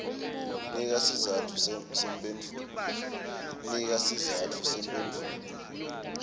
nika sizatfu semphendvulo